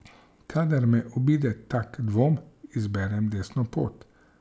Kadar me obide tak dvom, izberem desno pot.